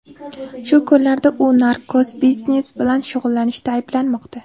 Shu kunlarda u narkobiznes bilan shug‘ullanishda ayblanmoqda.